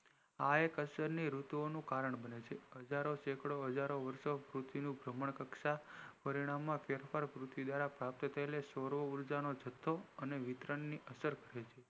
આ એક અસર ઋતુની અસર નું કારણ બને છે હજારો સેંકડો હજારો વારસો પૃથ્વી નું ભ્રમણ કક્ષા પરિણામ માં ફેરફાર પૃથ્વી દ્વારા પ્રાપ્ત થયેલી સોર ઉર્જાનો જથ્થો વિતરણ ની અસર થી